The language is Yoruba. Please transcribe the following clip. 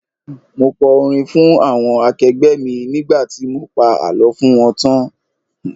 Mo kọ orin fún àwọn akẹgbẹ́ mi nígbà tí mo pa àlọ́ fún wọn tán.